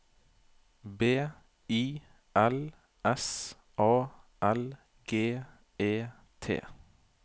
B I L S A L G E T